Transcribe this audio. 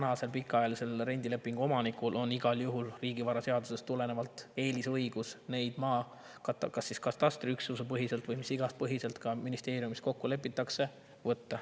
Maakeeli on pikaajalisel rendilepingu omanikul riigivaraseadusest tulenevalt igal juhul eelisõigus need maad kas siis katastriüksusepõhiselt või mille iganes põhjal, nagu ministeeriumis kokku lepitakse.